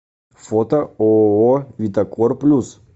фото ооо витакор плюс